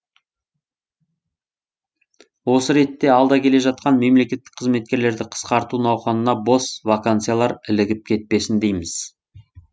осы ретте алда келе жатқан мемлекеттік қызметкерлерді қысқарту науқанына бос вакансиялар ілігіп кетпесін дейміз